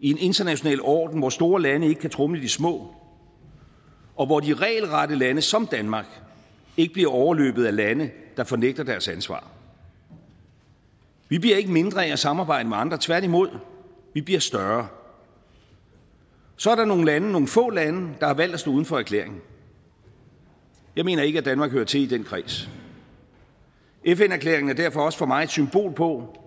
i en international orden hvor store lande ikke kan tromle de små og hvor de regelrette lande som danmark ikke bliver overløbet af lande der fornægter deres ansvar vi bliver ikke mindre af at samarbejde med andre tværtimod vi bliver større så er der nogle lande nogle få lande der har valgt at stå uden for erklæringen jeg mener ikke at danmark hører til i den kreds og fn erklæringen er derfor også for mig et symbol på